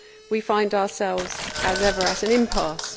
We find ourselves, as ever, at an impasse.